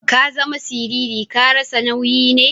Ka zama siriri. Ka rasa nauyi ne?